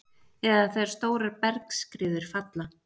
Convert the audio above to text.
eða þegar stórar bergskriður falla.